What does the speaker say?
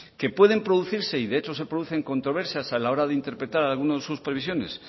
que pueden producirse y de hecho se producen controversias a la hora de interpretar algunas de sus previsiones